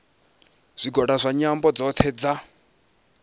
zwigwada zwa nyambo dzothe dza